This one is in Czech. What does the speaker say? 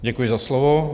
Děkuji za slovo.